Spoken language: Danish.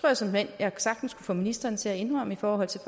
jeg såmænd jeg sagtens kunne få ministeren til at indrømme i forhold til